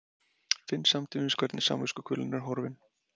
Finn samtímis hvernig samviskukvölin er horfin.